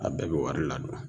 A bɛɛ bɛ wari ladon.